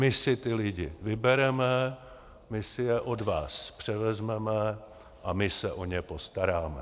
My si ty lidi vybereme, my si je od vás převezmeme a my se o ně postaráme.